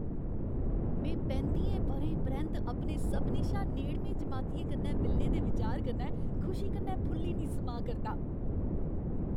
में पैंत्तियें ब'रें परैंत्त अपने सभनें शा नेड़में जमातियें कन्नै मिलने दे विचार कन्नै खुशी कन्नै फुल्ली निं समाऽ करदा।